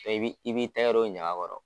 I b'i i b'i tɛgɛ don ɲaga kɔrɔ.